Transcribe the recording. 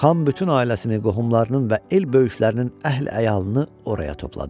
Xan bütün ailəsini, qohumlarının və el böyüklərinin əhli-əyalını oraya topladı.